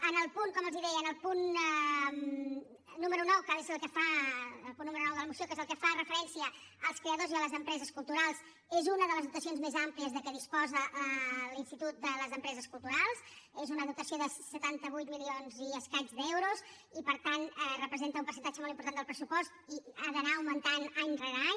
en el punt com els deia número nou de la moció que és el que fa referència als creadors i a les empreses culturals és una de les dotacions més àmplies de què disposa l’institut de les empreses culturals és una dotació de setanta vuit milions i escaig d’euros i per tant representa un percentatge molt important del pressupost i ha d’anar augmentant any rere any